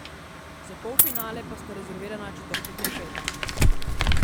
Za polfinale pa sta rezervirana četrtek in petek.